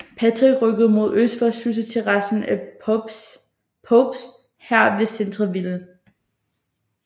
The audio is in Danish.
Patrick og rykkede mod øst for at slutte sig til resten af Popes hær ved Centreville